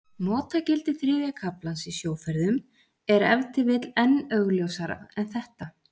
Notagildi þriðja kaflans í sjóferðum er ef til vill enn augljósara en þetta.